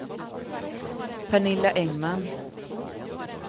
Pernilla Engman